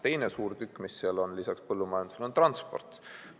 Teine suur tükk, mis seal on lisaks põllumajandusele, on transport.